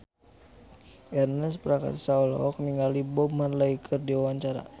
Ernest Prakasa olohok ningali Bob Marley keur diwawancara